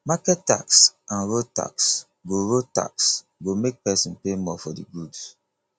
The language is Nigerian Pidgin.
market tax and road tax go road tax go make pesin pay more for di goods